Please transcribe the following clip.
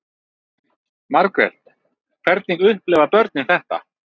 Margrét: Hvernig upplifa börnin þetta?